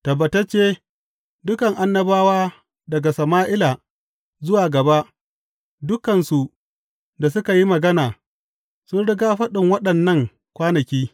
Tabbatacce, dukan annabawa daga Sama’ila zuwa gaba, dukansu da suka yi magana, sun rigya faɗin waɗannan kwanaki.